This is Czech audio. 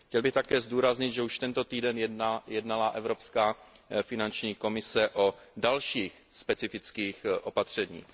Chtěl bych také zdůraznit, že už tento týden jednala Evropská finanční komise o dalších specifických opatřeních.